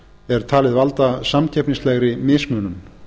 er talið valda samkeppnislegri mismunun